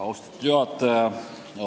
Austatud juhataja!